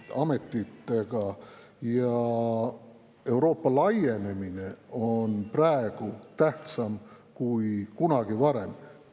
Euroopa laienemine on praegu tähtsam kui kunagi varem.